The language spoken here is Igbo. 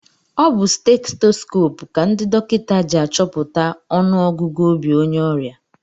Ọ bu stetoskoopu ka ndị dọkịta ji achọpụta ọnụ ọgụgụ obi onye ọrịa.